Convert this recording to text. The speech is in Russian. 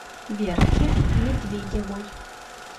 верке медведевой